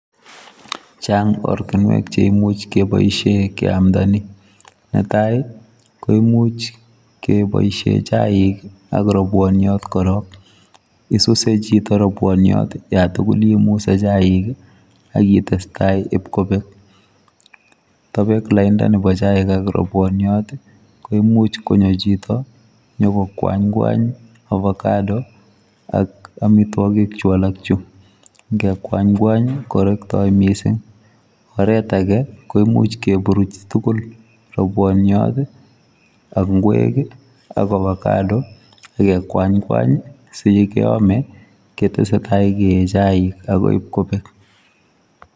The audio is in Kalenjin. Chang' ortinuek cheimuch keboisien keamda ni, netai koimuch kebosien chaik ak robwoniot korok, isuse chito robwoniot yan tugul imuse chaik ii ak itesetai ibkobek. Tobeku lainda nebo chaik ak robwoniot ii koimuch konyo chito nyogo kwanykwany ovacado ak omitwogik chu alak chu, ingekwanykwany korekto missing'. Oret age koimuch keburuch tugul robwoniot ii ok ingwek ii ak ovacado ak kekwanykwany sikeome ketesetai kee chaik agoi kobek.